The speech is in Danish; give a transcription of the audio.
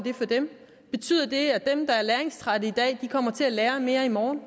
for dem betyder det at dem der er læringstrætte i dag kommer til at lære mere i morgen